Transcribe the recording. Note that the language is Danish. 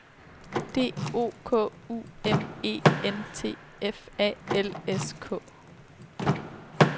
D O K U M E N T F A L S K